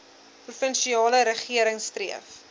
provinsiale regering streef